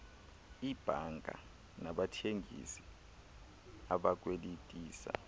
iibhanka nabathengisi abakwelitisa